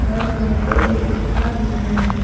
घर में दो खिड़कियां भी हैं।